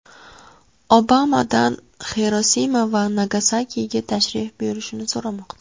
Obamadan Xirosima va Nagasakiga tashrif buyurishini so‘rashmoqda.